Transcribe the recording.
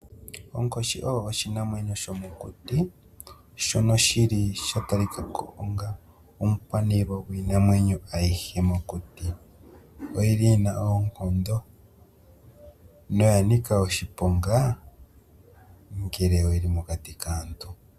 Onkoshi osho oshinamyenyo shomokuti shono shili shatalikako onga omukwanilwa gwiinamwenyo ayihe mokuti. Oyili yina oonkondo noyanika oshiponga ngele oyili mokati kaantu.